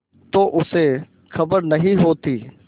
तो उसे खबर नहीं होती